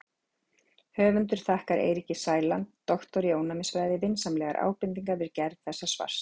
Höfundur þakkar Eiríki Sæland, doktor í ónæmisfræði, vinsamlegar ábendingar við gerð þessa svars.